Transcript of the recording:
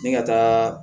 Ni ka taa